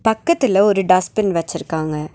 பக்கத்தில ஒரு டஸ்ட்பின் வச்சிருக்காங்க.